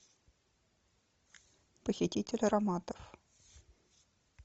похититель ароматов